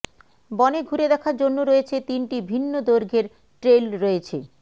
বনে ঘুরে দেখার জন্য রয়েছে তিনটি ভিন্ন দৈর্ঘ্যের ট্রেইল রয়েছে